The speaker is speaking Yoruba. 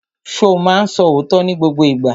Ṣo ma ń sọ òótọ́ ní gbogbo ìgbà?